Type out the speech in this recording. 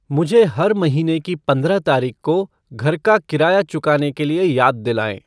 मुझे हर महीने की पंद्रह तारीख को घर का किराया चुकाने के लिए याद दिलाएँ।